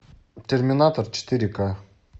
терминатор четыре ка